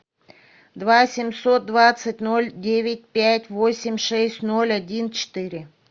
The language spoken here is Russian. два семьсот двадцать ноль девять пять восемь шесть ноль один четыре